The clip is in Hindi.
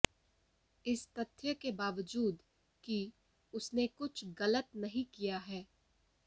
इस तथ्य के बावजूद कि उसने कुछ गलत नहीं किया है